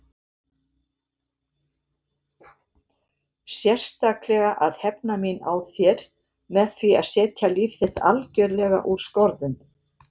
Sérstaklega að hefna mín á þér með því að setja líf þitt algjörlega úr skorðum.